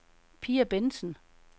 Pia Bentsen